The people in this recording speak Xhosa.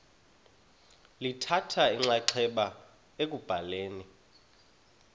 lithatha inxaxheba ekubhaleni